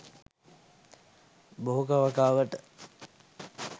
භෝග වගාවට